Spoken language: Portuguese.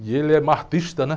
E ele é, né?